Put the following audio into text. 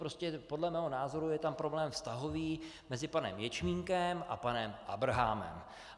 Prostě podle mého názoru je tam problém vztahový mezi panem Ječmínkem a panem Abrahamem.